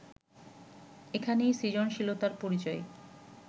এখানেই সৃজনশীলতার পরিচয়